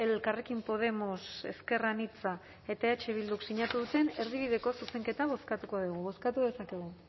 elkarrekin podemos ezker anitza eta eh bilduk sinatu duten erdibideko zuzenketa bozkatu dezakegu